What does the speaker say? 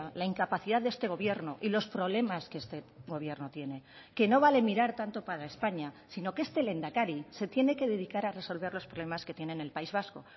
la incapacidad de este gobierno y los problemas que este gobierno tiene que no vale mirar tanto para españa sino que este lehendakari se tiene que dedicar a resolver los problemas que tiene en el país vasco